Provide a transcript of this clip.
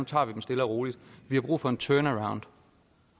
tager vi dem stille og roligt vi har brug for en turnaround